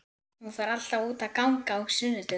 Hún fer alltaf út að ganga á sunnudögum.